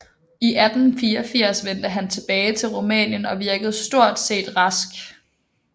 I 1884 vendte han tilbage til Rumænien og virkede stort set rask